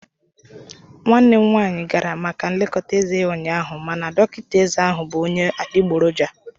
Nwanne m nwanyị gara maka nlekọta eze ya ụnyaahụ mana dọkịta eze ahu bụ onye adigboroja